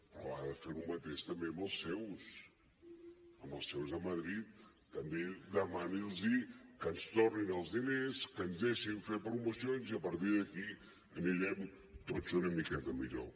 però ha de fer lo mateix també amb els seus amb els seus de madrid també demani’ls que ens tornin els diners que ens deixin fer promocions i a partir d’aquí anirem tots una miqueta millor